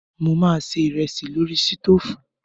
Mo máa se ìrẹsì lórí sítóòfù.